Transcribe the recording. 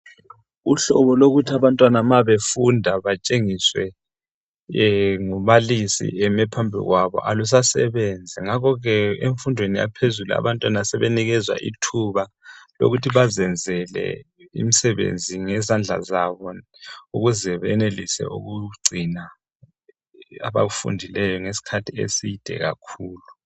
Uhlubo lokuthi abantwana ma befunda batshengiswe ngumbalisi emi phambi kwabo, alusasebenzi. Ngakho ke emfundweni yaphezulu abantwana sebenikezwa ithuba lokuthi bazenzele imsebenzi ngezandla zabo. Ukuze benelise ukugcina abakufundileyo ngesikhathi eside kakhulu.